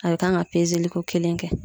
A be kan ka ko kelen kɛ.